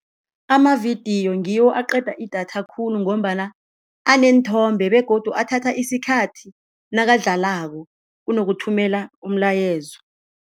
Amavidiyo ngiwo aqeda idatha khulu ngombana aneenthombe begodu athatha isikhathi nakadlalako kunokuthumela umlayezo.